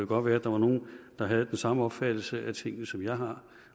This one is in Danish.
godt være at der var nogle der havde den samme opfattelse af tingene som jeg har